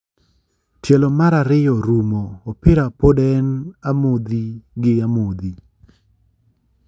Tielo mar ariyo rumo ,opira poed en amodhi gi amodhi.